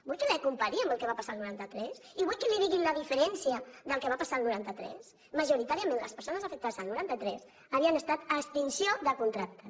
vol que ho compari amb el que va passar al noranta tres i vol que li digui la diferència del que va passar al noranta tres majoritàriament les persones afectades al noranta tres ho havien estat per extinció de contractes